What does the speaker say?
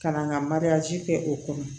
Ka na n ka kɛ o kɔnɔ